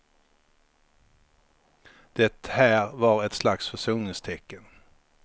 Det här var ett slags försoningstecken.